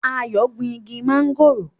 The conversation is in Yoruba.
Ayo ń gún ìgi Mángòrò.